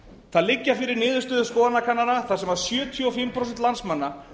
það liggja fyrir niðurstöður skoðanakannana þar sem sjötíu og fimm prósent landsmanna